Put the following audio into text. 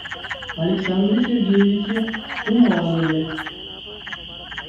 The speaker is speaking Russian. александре сергеевиче туманове